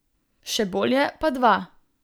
Še bolje pa dva.